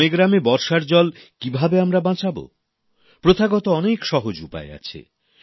গ্রামে গ্রামে বর্ষার জল কিভাবে আমরা বাঁচাবো প্রথাগত অনেক সহজ উপায় আছে